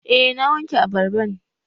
Eh na wanke abarban